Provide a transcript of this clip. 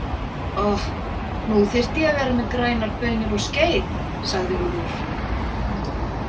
Oh, nú þyrfti ég að vera með grænar baunir og skeið, sagði Úlfur.